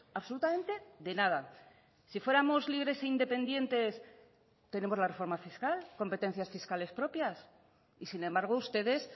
absolutamente de nada si fuéramos libres e independientes tenemos la reforma fiscal competencias fiscales propias y sin embargo ustedes